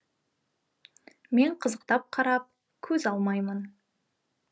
мен қызықтап қарап көз алмаймын